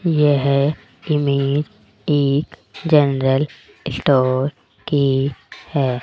यह इमेज एक general store की है।